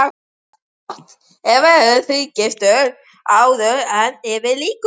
Gott ef ég verð ekki þrígiftur áður en yfir lýkur.